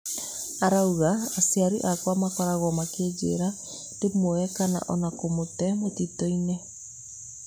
Arauga' aciari akwa makoragwo makinjira ndĩmuoe kana ona kũmũte mũtitũi-nĩ.